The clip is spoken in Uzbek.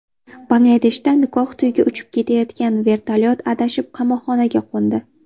Bangladeshda nikoh to‘yiga uchib ketayotgan vertolyot adashib qamoqxonaga qo‘ndi.